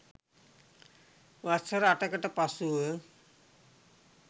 වසර අටකට පසුව